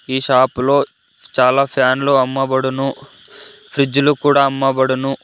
ఈ షాప్ లో చాలా ఫ్యాన్లు అమ్మబడును ఫ్రిడ్జు లు కూడా అమ్మబడును.